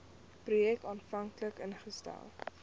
projek aanvanklik ingestel